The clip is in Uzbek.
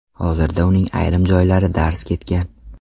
Hozirda uning ayrim joylari darz ketgan.